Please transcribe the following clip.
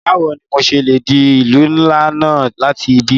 Bawo ni mo ṣe le de ilu nla náa lati ibi?